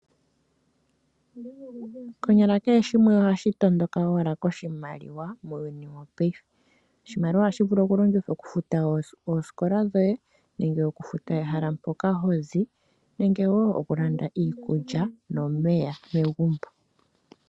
Konyala kehe shimwe ohashi tondoka owala omolwa oshimaliwa muuyuni wopaife. Oshimaliwa ohashi vulu okulongithwa okufuta osikola dhoye nenge okufuta ehala mpoka hozi nenge woo okulanda iikulya nomeya megumbo.